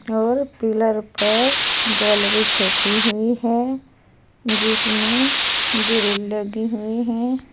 और पिलर पर गैलरी छपी हुई है जिसमें ग्रिल लगी हुई हैं।